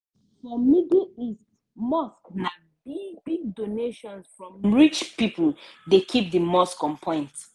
for middle east mosques na big-big donations from rich pipo dey keep di mosque on point.